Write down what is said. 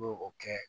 O kɛ